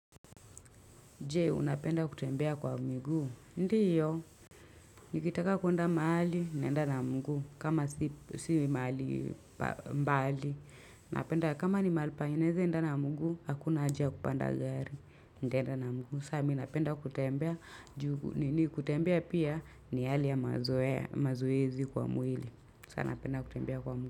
Je, unapenda kutembea kwa miguu, ndiyo. Nikitaka kuenda mahali, naenda na miguu, kama si mahali mbali. Napenda kama ni mahali naeza, enda na mguu, hakuna haja ya kupanda gari. Ndaenda na mguu, saa mimi napenda kutembea juu, nini kutembea pia ni hali ya mazoezi kwa mwili. Sa, napenda kutembea kwa miguu.